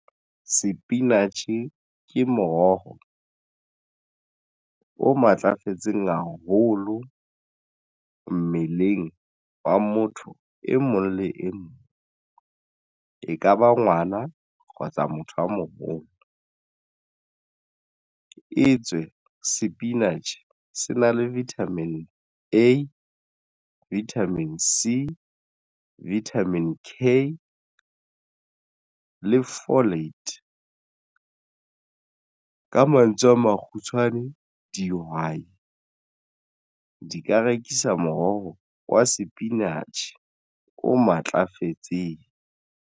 Sepinatjhe ke moroho o matlafetseng haholo mmeleng wa motho e mong le e mong. E kaba ngwana kgotsa motho a moholo etswe sepinatjhe se na le vitamin E, vitamin sea, vitamin K le folate. Ka mantswe a makgutshwane dihwai di ka rekisa moroho wa sepinatjhe o matlafetseng.